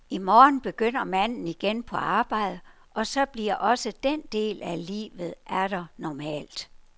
I morgen begynder manden igen på arbejde, og så bliver også den del af livet atter normalt.